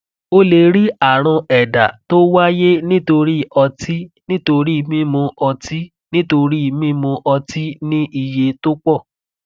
o lè rí àrùn ẹdá tó wáyé nítorí ọtí nítorí mímu ọtí nítorí mímu ọtí ní iye tó pọ